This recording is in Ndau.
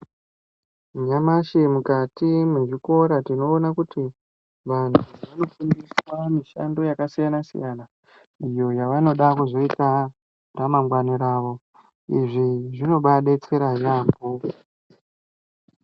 Nyamashi mukati mezvikora tinoona kuti vantu vanofundiswa mishando yakasiyana-siyana, iyo yavanoda kuzoita mune ramangwana ravo. Izvi zvinobaadetsera yaamho.